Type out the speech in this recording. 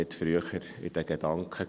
Er war nicht früher in den Gedanken.